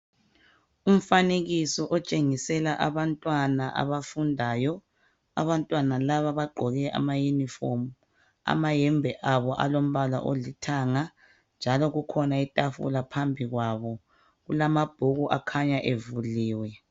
Umfanekiso otshengisela abantwana abafundayo. Abantwana laba bagqoke amayunifomu, amayembe abo alombala olithanga njalo kukhona itafula phambi kwabo. Kulamabhuku akhanya evuliwe.